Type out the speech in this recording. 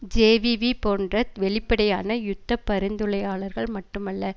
JVP போன்ற வெளிப்படையான யுத்த பரிந்துளையாளர்கள் மட்டுமல்ல